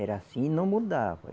Era assim e não mudava.